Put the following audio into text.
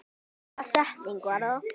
Hvaða setning var það?